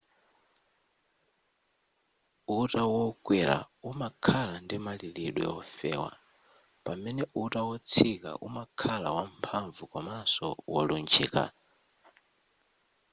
uta-wokwera umakhala ndi malilidwe wofewa pamene uta wotsika umakhala wamphamvu komanso wolunjika